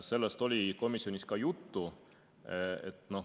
Sellest oli komisjonis ka juttu.